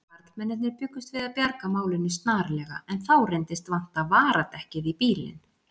Karlmennirnir bjuggust til að bjarga málinu snarlega en þá reyndist vanta varadekkið í bílinn.